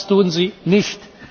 Das tun sie nicht.